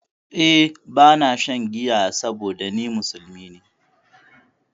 Eh ba na shan giya saboda ni musulmi ne